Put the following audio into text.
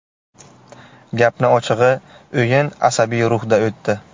Gapni ochig‘i o‘yin asabiy ruhda o‘tdi.